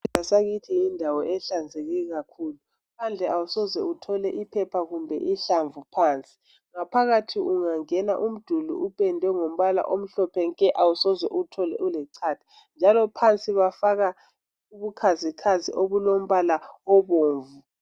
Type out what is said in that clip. Isibhedlela sakithi yindawo ehlanzeke kakhulu. Phandle awusoze ubone iphepha kumbe ihlamvu phandle. Phakathi ungangena umduli upendwe ngombala omhlophe nke awusoze uwuthole ulechatha njalo phansi bafaka ubukhazikhazi obulombala obomvu.